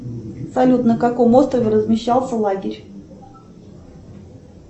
салют на каком острове размещался лагерь